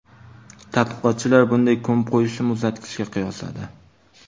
Tadqiqotchilar bunday ko‘mib qo‘yishni muzlatgichga qiyosladi.